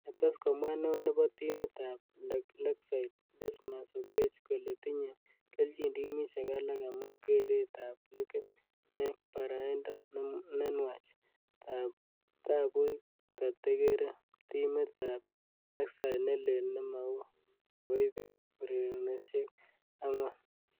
Kates komwaa neo nebo timit ab Lakeside ,Dismas Oketch kole tinye kelchin timishek alak amu keret ab likit eng baraindo nenwach tabuch katekere timit ab Lakeside nelel nemau nokoibet ureronoshek ang'wan.